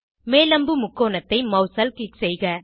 மேல் அம்பு முக்கோணத்தை மவுஸால் க்ளிக் செய்க